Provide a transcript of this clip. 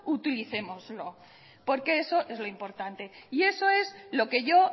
utilicémoslo porque eso es lo importante y eso es lo que yo